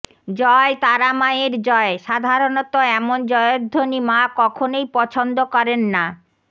জয় তারা মায়ের জয় সাধারণত এমন জয়ধ্বনি মা কখনই পছন্দ করেন না